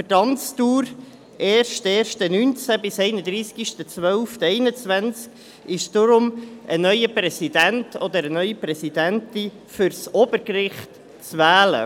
Für die Amtsdauer vom 1.1.2019 bis 31.12.2021 ist deshalb ein neuer Präsident oder eine neue Präsidentin für das Obergericht zu wählen.